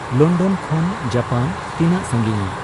London ᱠᱷᱚᱱ Japan ᱛᱤᱱᱟᱹᱜ ᱥᱟᱹᱸᱜᱤᱧᱼᱟ